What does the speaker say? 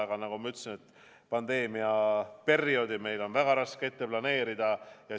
Aga nagu ma ütlesin, pandeemia perioodi on meil väga raske planeerida.